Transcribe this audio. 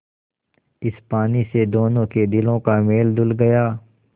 इस पानी से दोनों के दिलों का मैल धुल गया